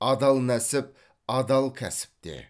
адал нәсіп адал кәсіпте